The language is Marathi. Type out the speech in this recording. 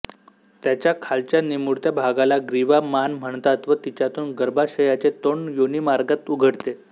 त्याच्या खालच्या निमुळत्या भागाला ग्रीवा मान म्हणतात व तिच्यातून गर्भाशयाचे तोंड योनिमार्गात उघडते